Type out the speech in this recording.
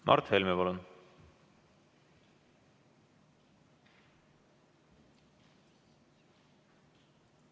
Mart Helme, palun!